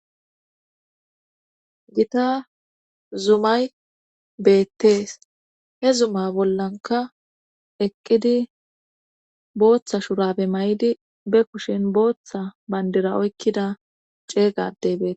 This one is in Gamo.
gita zumay beettees he zuma bollanka eqqidi booththa shurabe may7idi be kushin booththa bandira oykkida ceeygadey bete